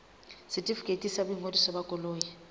setefikeiti sa boingodiso ba koloi